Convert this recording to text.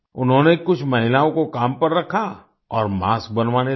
उन्होंने कुछ महिलाओं को काम पर रखा और मास्क बनवाने लगे